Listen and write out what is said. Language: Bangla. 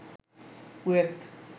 কুয়েত